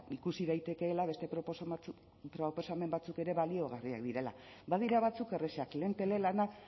ikusi daitekeela beste proposamen batzuk ere baliagarriak direla badira batzuk errazak lehen telelana